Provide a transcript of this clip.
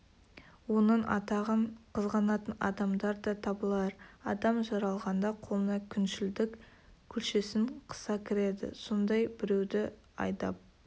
оның атағын қызғанатын адамдар да табылар адам жаралғанда қолына күншілдік күлшесін қыса кіреді сондай біреуді айдап